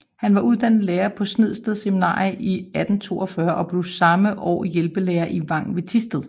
Han var uddannet lærer på Snedsted Seminarium i 1842 og blev samme år hjælpelærer i Vang ved Thisted